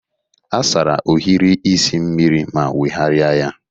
Asara ohiri isi mmiri ma nweghari ya.